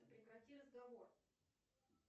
прекрати разговор